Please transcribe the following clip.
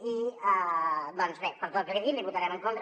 i doncs bé per tot el que li he dit li votarem en contra